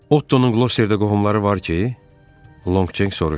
Ottonun Qlosterda qohumları var ki, Lonqcenk soruşdu.